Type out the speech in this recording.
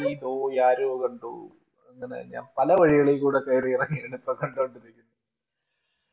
ജാനേ ഭി ദോ യാരോ കണ്ടു അങ്ങനെ ഞാൻ പലവഴികളിൽകൂടെ കേറിയിറങ്ങി ഇങ്ങനെ ഇപ്പൊ കണ്ടോണ്ടിരിക്കുന്നു